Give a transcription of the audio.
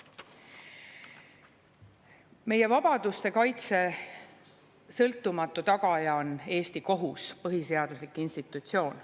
Meie vabaduste kaitse sõltumatu tagaja on Eesti kohus, põhiseaduslik institutsioon.